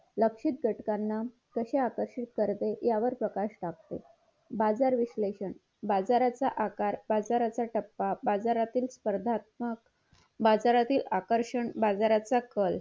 लक्षित घटकांना कशी आकर्षित करते यावर प्रकाश टाकते बाजार विश्लेषण बाजाराचा आकार बाजाराचं टप्पा बाजारातील स्पर्धात्मक बाजारातील आकषण बाजारातील कल